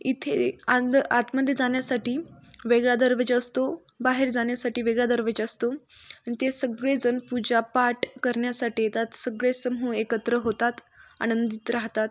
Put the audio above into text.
इथे अंध आतमध्ये जाण्या साठी वेगळा दरवाजा असतो बाहेर जाण्यासाठी वेगळा दरवाजा असतो आणि ते सगळे जण आणि ते सगळे जण पूजा पाठ करण्यासाठी येतात सगळे समूह एकत्र होतात आनंदीत राहतात.